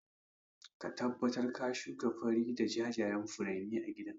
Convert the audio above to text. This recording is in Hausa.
Ka tabbatar ka shuka fari da jajayan furanni a gidan